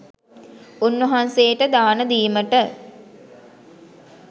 උන්වහන්සේට දානදීමට